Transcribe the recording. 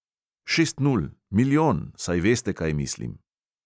Šest nul, milijon, saj veste, kaj mislim.